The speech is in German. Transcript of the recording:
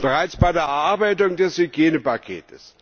Bereits bei der Erarbeitung des Hygienepakets